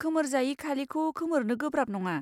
खोमोरजायि खालिखौ खोमोरनो गोब्राब नङा।